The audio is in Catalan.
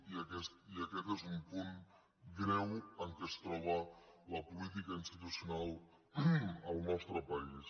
i aquest és un punt greu en què es troba la política institucional al nostre país